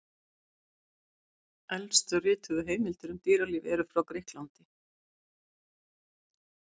Elstu rituðu heimildir um dýralíf eru frá Grikklandi.